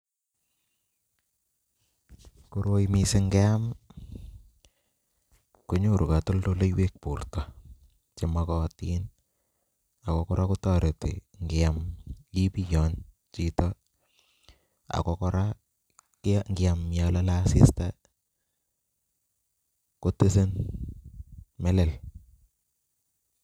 Koroi mising ng'eam konyoru kotoldoleiwek borto chemokotin ak ko kora kotoreti ng'iam ibiyony chito ak ko kora ng'iam yoon lolee asista kotise melel.